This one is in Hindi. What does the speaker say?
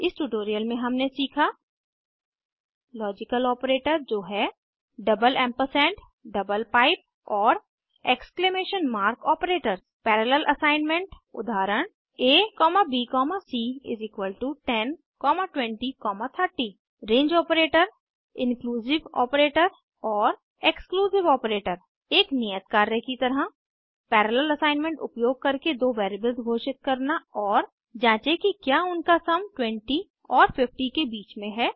इस ट्यूटोरियल में हमने सीखा लॉजिकल आपरेटर जो हैं डबल एम्परसैंड डबल पाइप और exclamation mark operators parallel assignment उदाहरण abc102030 range operator inclusive operator और एक्सक्लूसिव operator एक नियत कार्य की तरह पैरालेल असाइनमेंट उपयोग करके दो वेरिएबल्स घोषित करना और जाँचें कि क्या उनका सम 20 और 50 के बीच में है